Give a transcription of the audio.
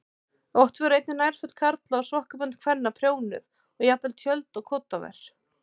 Oft voru einnig nærföt karla og sokkabönd kvenna prjónuð og jafnvel tjöld og koddaver.